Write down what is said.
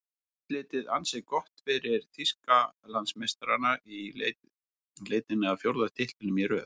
Útlitið ansi gott fyrir Þýskalandsmeistarana í leitinni að fjórða titlinum í röð.